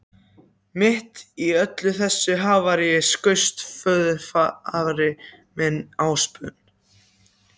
Mitt í öllu þessu havaríi skaust föðurafi minn, Ásbjörn